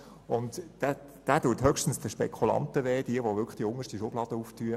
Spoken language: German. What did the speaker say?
Dieser Artikel schmerzt höchstens die Spekulanten, die wirklich die unterste Schublade öffnen.